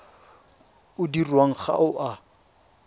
o dirwang ga o a